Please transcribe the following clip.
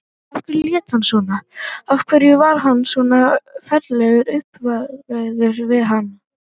Af hverju lét hann svona, af hverju var hann svona ferlega uppveðraður við hana?